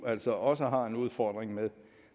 altså også har en udfordring med